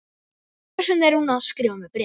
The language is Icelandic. Hvers vegna er hún að skrifa mér bréf?